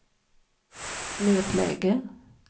nödläge